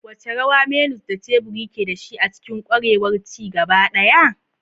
Wace rawa menus da teburi ke da shi a cikin ƙwarewar ci gaba ɗaya?